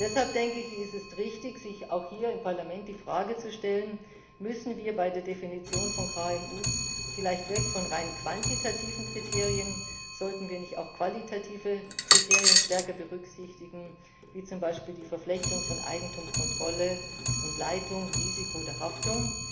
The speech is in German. Deshalb denke ich, ist es richtig, sich auch hier im Parlament die Frage zu stellen Müssen wir bei der Definition von KMU vielleicht weg von rein quantitativen Kriterien, sollten wir nicht auch qualitative Kriterien stärker berücksichtigen, wie zum Beispiel die Verflechtung von Eigentum, Kontrolle und Leitung, Risiko der Haftung?